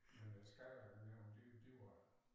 Men øh skattenævnet det det var